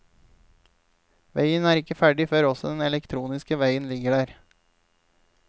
Veien er ikke ferdig før også den elektroniske veien ligger der.